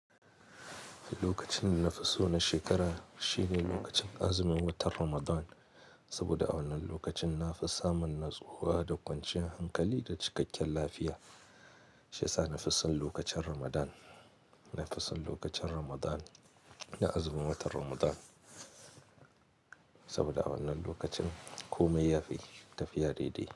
Lokacin na fisu na shekara shine lokacin azumin watan Ramadan, saboda a wannan lokacin na fissa man natsuwa da kwancin hankali da cikakken lafiya. Shi sa na fissan lokacin Ramadan, na fissan lokacin Ramadan, na azumin watan Ramadan. Saboda a wannan lokacin komai yafi tafiya daidai.